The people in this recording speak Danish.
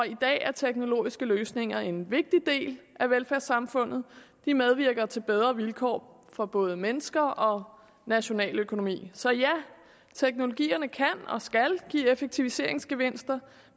i dag er teknologiske løsninger en vigtig del af velfærdssamfundet de medvirker til bedre vilkår for både mennesker og nationaløkonomi så ja teknologierne kan og skal give effektiviseringsgevinster